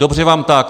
Dobře vám tak.